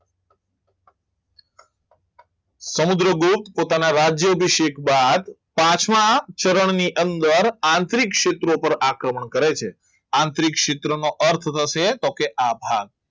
સમુદ્રગુપ્ત પોતાના રાજ્ય અભિષેક બાદ પાંચમા ચરણની અંદર આત્વિક સિદ્રકો પર આક્રમણ કરે છે આત્વિક સિદ્રકોનો અર્થ થશે તો કે આભાર